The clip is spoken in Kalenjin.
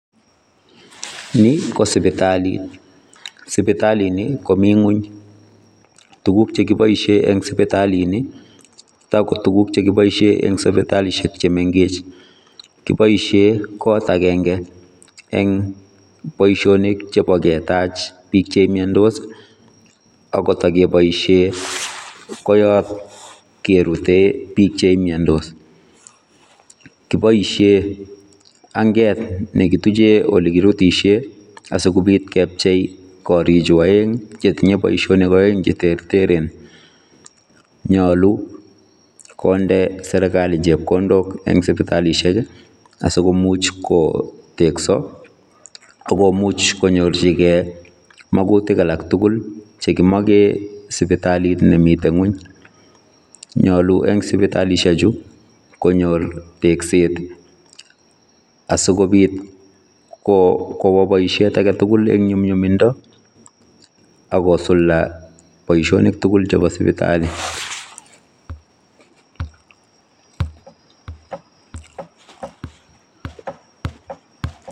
Ni ko sipitalii ,sipitaliit nii ko Mii kweeny, tuguuk che kibaisheen en sipitaliit ni ko Tako tuguuk chekibaisheen en sipitalishek che mengech, kibaisheen en koot agenge boisionik chebo ketaach biik che miandos ii ako yaan pkerute biik che miandos kibaisheen angeet nekitujeen ole kirutisheen asikobiit kepchei korig chuu aeng che tinyei boisonik aeng che terteren nyaluu kondee serikali chepkondook en sipitalishek ii asikomuuch koteksai agomuuch konyoorjigei magutiik alaak tugul chekimageen sipitaliit en kweeny amuun nyaluu en sipitalishek chuu konyoor tekseet asikobiit kobaa boisiet age tugul en nyumnyumindaa ako sulda boisionik.